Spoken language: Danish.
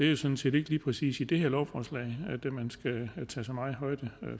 det sådan set ikke lige præcis i det her lovforslag at man skal tage så meget højde